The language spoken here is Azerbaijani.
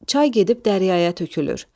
Çay gedib dəryaya tökülür.